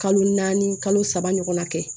Kalo naani kalo saba ɲɔgɔnna kɛ